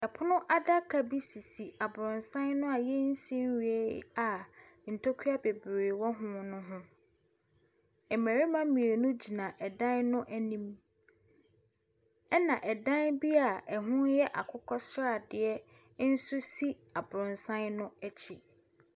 Pono adaka bi sisi abrɔsan no a yɛnsi nwieɛ a ntakura bebree wɔ ho ne ho. Mmarima mmienu gyina dan no anim. Na dan bi a ɛho yɛ akokɔsradeɛ nso si abrɔsan no akyi.